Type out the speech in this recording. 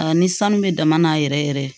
Aa ni sanu bɛ dama na yɛrɛ yɛrɛ